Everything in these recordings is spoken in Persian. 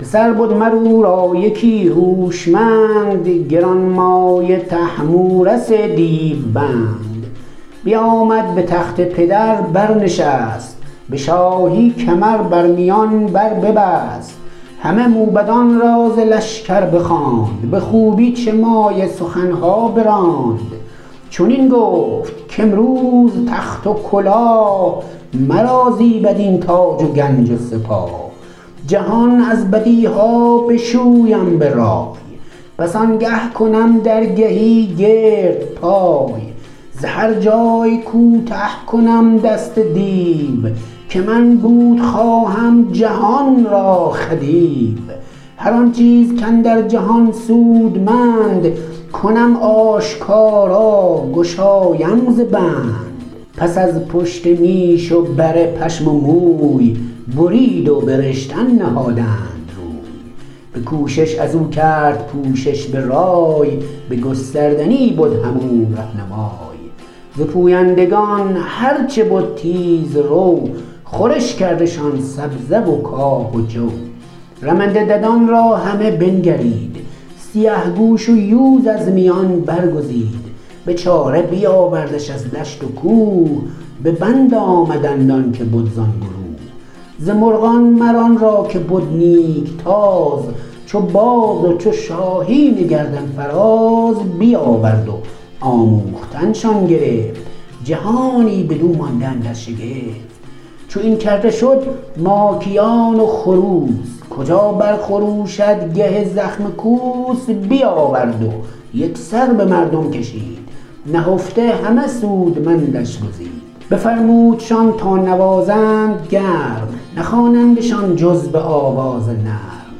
پسر بد مر او را یکی هوشمند گرانمایه طهمورث دیو بند بیامد به تخت پدر بر نشست به شاهی کمر بر میان بر ببست همه موبدان را ز لشکر بخواند به خوبی چه مایه سخن ها براند چنین گفت کامروز تخت و کلاه مرا زیبد این تاج و گنج و سپاه جهان از بدی ها بشویم به رای پس آنگه کنم درگهی گرد پای ز هر جای کوته کنم دست دیو که من بود خواهم جهان را خدیو هر آن چیز کاندر جهان سودمند کنم آشکارا گشایم ز بند پس از پشت میش و بره پشم و موی برید و به رشتن نهادند روی به کوشش از او کرد پوشش به رای به گستردنی بد هم او رهنمای ز پویندگان هر چه بد تیز رو خورش کردشان سبزه و کاه و جو رمنده ددان را همه بنگرید سیه گوش و یوز از میان برگزید به چاره بیاوردش از دشت و کوه به بند آمدند آن که بد زان گروه ز مرغان مر آن را که بد نیک تاز چو باز و چو شاهین گردن فراز بیاورد و آموختن شان گرفت جهانی بدو مانده اندر شگفت چو این کرده شد ماکیان و خروس کجا بر خروشد گه زخم کوس بیاورد و یک سر به مردم کشید نهفته همه سودمندش گزید بفرمودشان تا نوازند گرم نخوانندشان جز به آواز نرم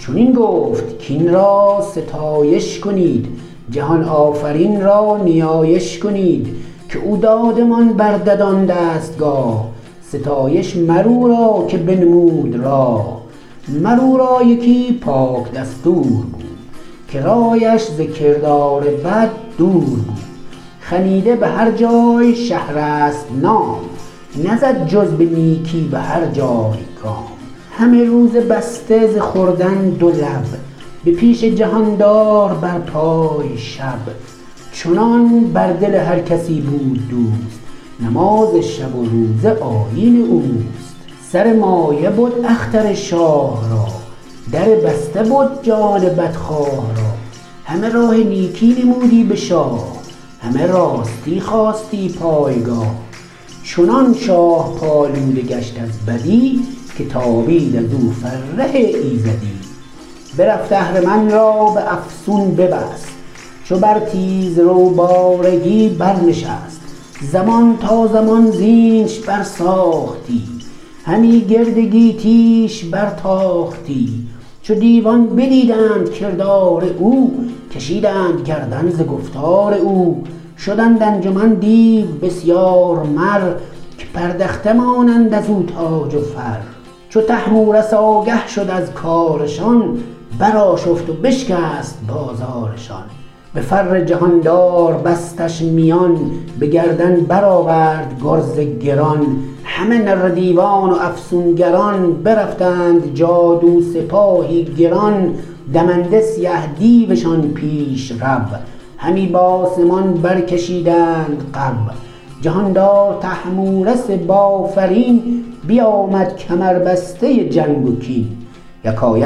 چنین گفت کاین را ستایش کنید جهان آفرین را نیایش کنید که او دادمان بر ددان دستگاه ستایش مر او را که بنمود راه مر او را یکی پاک دستور بود که رایش ز کردار بد دور بود خنیده به هر جای شهرسپ نام نزد جز به نیکی به هر جای گام همه روز بسته ز خوردن دو لب به پیش جهاندار بر پای شب چنان بر دل هر کسی بود دوست نماز شب و روزه آیین اوست سر مایه بد اختر شاه را در بسته بد جان بدخواه را همه راه نیکی نمودی به شاه همه راستی خواستی پایگاه چنان شاه پالوده گشت از بدی که تابید ازو فره ایزدی برفت اهرمن را به افسون ببست چو بر تیز رو بارگی بر نشست زمان تا زمان زینش بر ساختی همی گرد گیتی ش بر تاختی چو دیوان بدیدند کردار او کشیدند گردن ز گفتار او شدند انجمن دیو بسیار مر که پردخته مانند از او تاج و فر چو طهمورث آگه شد از کارشان بر آشفت و بشکست بازارشان به فر جهاندار بستش میان به گردن بر آورد گرز گران همه نره دیوان و افسونگران برفتند جادو سپاهی گران دمنده سیه دیوشان پیش رو همی بآسمان برکشیدند غو جهاندار طهمورث بافرین بیامد کمربسته جنگ و کین یکایک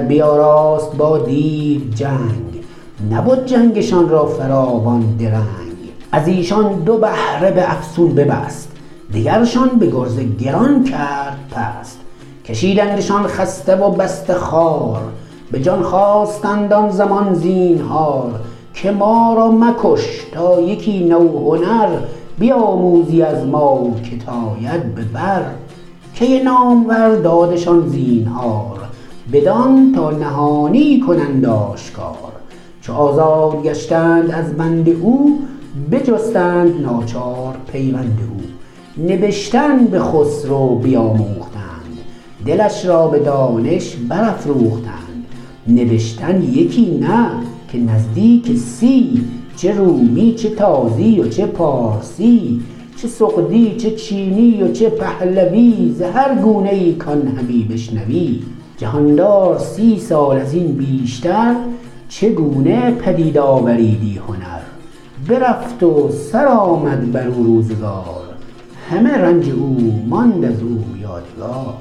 بیاراست با دیو جنگ نبد جنگشان را فراوان درنگ از ایشان دو بهره به افسون ببست دگرشان به گرز گران کرد پست کشیدندشان خسته و بسته خوار به جان خواستند آن زمان زینهار که ما را مکش تا یکی نو هنر بیاموزی از ما که ت آید به بر کی نامور دادشان زینهار بدان تا نهانی کنند آشکار چو آزاد گشتند از بند او بجستند ناچار پیوند او نبشتن به خسرو بیاموختند دلش را به دانش برافروختند نبشتن یکی نه که نزدیک سی چه رومی چه تازی و چه پارسی چه سغدی چه چینی و چه پهلوی ز هر گونه ای کان همی بشنوی جهاندار سی سال از این بیشتر چه گونه پدید آوریدی هنر برفت و سر آمد بر او روزگار همه رنج او ماند از او یادگار